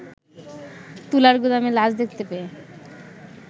তুলার গুদামে লাশ দেখতে পেয়ে